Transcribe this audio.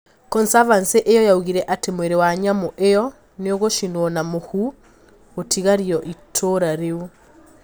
Consavansi iyo yaugire atĩ mwĩrĩ wa nyamũ iyo niũgũcinwo na mũhuu gũtigario itũra riu